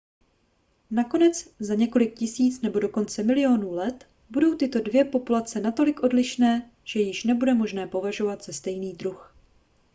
nakonec za několik tisíc nebo dokonce milionů let budou tyto dvě populace natolik odlišné že je již nebude možné považovat za stejný druh